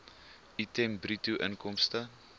item bruto inkomste